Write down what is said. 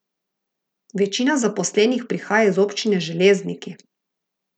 Večina zaposlenih prihaja iz občine Železniki.